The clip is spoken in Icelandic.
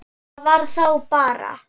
Það var þá bara